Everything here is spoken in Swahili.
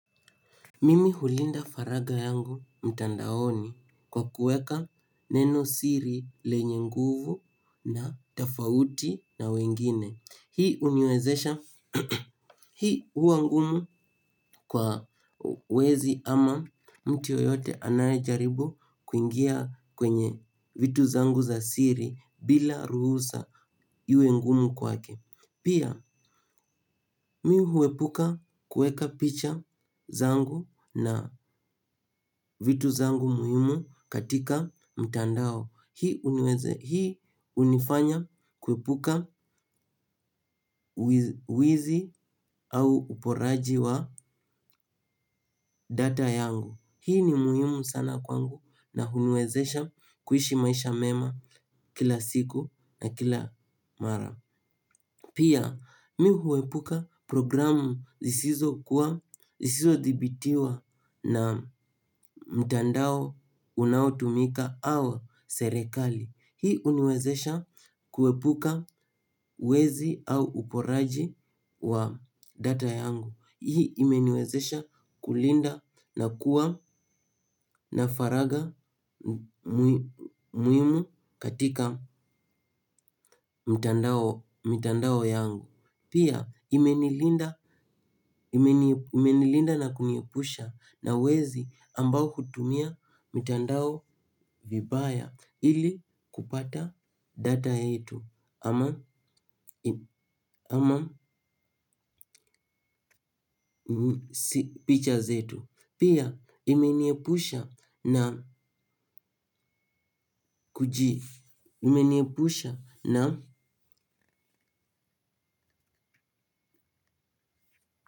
Mimi hulinda faraga yangu mtandaoni kwa kuweka neno siri lenye nguvu na tofauti na wengine. Hii huniwezesha hii hua ngumu kwa wezi ama mtu yoyote anayejaribu kuingia kwenye vitu zangu za siri bila ruhusa iwe ngumu kwake. Pia mi huepuka kuweka picha zangu na vitu zangu muhimu katika mtandao. Hii hunifanya kuepuka uizi au uporaji wa data yangu. Hii ni muhimu sana kwangu na huniwezesha kuishi maisha mema kila siku na kila mara. Pia mi huepuka programu zisizo kuwa zisizo thibitiwa na mtandao unautumika au serikali. Hii huniwezesha kuepuka wezi au uporaji wa data yangu. Hii imeniwezesha kulinda na kuwa na faraga muhimu katika mtandao yangu. Pia, imenilinda na kuniepusha na wezi ambao hutumia mitandao vibaya ili kupata data yetu ama picha zetu. Pia, imeniepusha na kuji imeniepusha na.